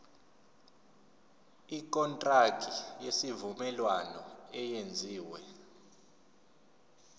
ikontraki yesivumelwano eyenziwe